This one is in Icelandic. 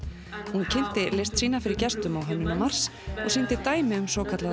hún kynnti list sína fyrir gestum á Hönnunarmars og sýndi dæmi um svokallaða